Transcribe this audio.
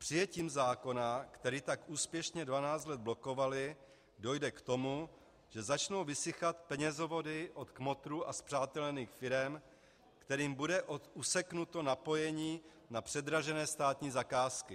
Přijetím zákona, který tak úspěšně 12 let blokovaly, dojde k tomu, že začnou vysychat penězovody od kmotrů a spřátelených firem, kterým bude useknuto napojení na předražené státní zakázky.